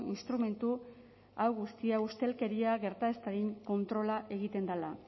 instrumentu hau guztia ustelkeria gerta ez dadin kontrola egiten dela